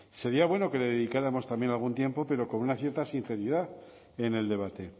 sería bueno que le dedicáramos también algún tiempo pero con una cierta sinceridad en el debate